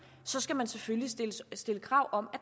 så skal man selvfølgelig stille krav om at